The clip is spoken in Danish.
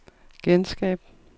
genskab